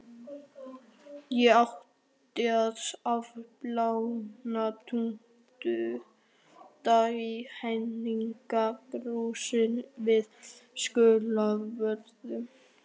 Ég átti að afplána tuttugu daga í Hegningarhúsinu við Skólavörðustíg.